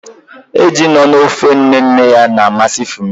Eju nọ na ofe nne nne ya na-amasị Funmi